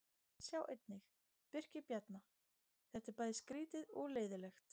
Sjá einnig: Birkir Bjarna: Þetta er bæði skrýtið og leiðinlegt